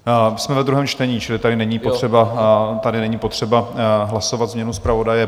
Jsme ve druhém čtení, čili tady není potřeba hlasovat změnu zpravodaje.